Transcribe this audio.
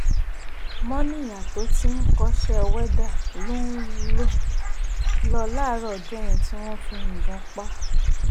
mòníyá tó ti ń kọ́ṣẹ́ wẹ́dà ló ń lò láàárọ̀ ọjọ́ yẹn tí wọ́n fi yíbọ́n pa á